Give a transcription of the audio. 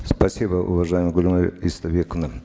спасибо уважаемая гульмира истайбековна